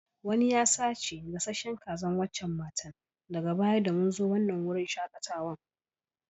Wanni ya sace gasasen Kazan wacacan matan daga baya da mun zo wanan wurin shakatawan.